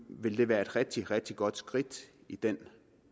ville det være et rigtig rigtig godt skridt i den